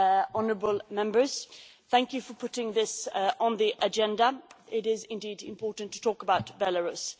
Honourable Members, thank you for putting this on the agenda it is indeed important to talk about Belarus.